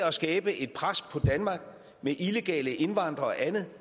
at skabe et pres på danmark med illegale indvandrere og andet